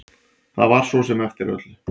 Það var svo sem eftir öllu.